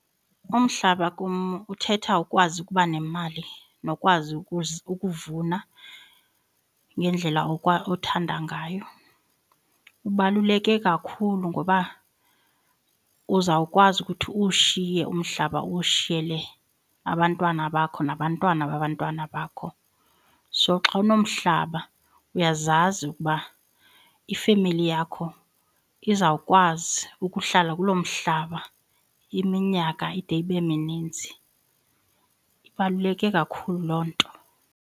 Umhlaba kum uthetha ukwazi ukuba nemali nokwazi ukuvuna ngendlela othanda ngayo. Ubaluleke kakhulu ngoba uzawukwazi ukuthi uwushiye umhlaba uwushiyele abantwana bakho nabantwana babantwana bakho. So xa unomhlaba uyazazi ukuba ifemeli yakho izawukwazi ukuhlala kulo mhlaba iminyaka ide ibe mininzi, ibaluleke kakhulu loo nto.